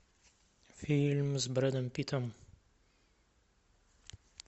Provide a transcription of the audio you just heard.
фильм с брэдом питтом